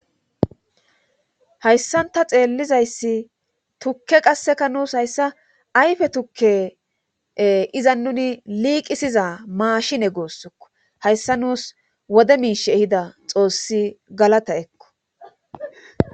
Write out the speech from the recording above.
hayssanta xeellizayssi tukke qasseka nuus hayssa ayfe tukke izannuni liiqisiza maashine guusukko hayssa nuus wode miish ehida xoossi galata ekko.